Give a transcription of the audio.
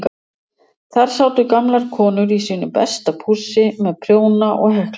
Þar sátu gamlar konur í sínu besta pússi með prjóna og heklunálar.